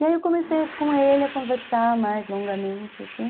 E aí eu comecei com ele a conversar mais longamente, assim...